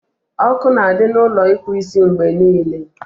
Ọkụ na adị na Ụlọ ịkpụ isimgbe niile